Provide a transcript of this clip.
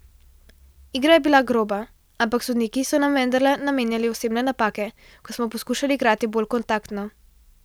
Igra je bila groba, ampak sodniki so nam vendarle namenjali osebne napake, ko smo poskušali igrati bolj kontaktno.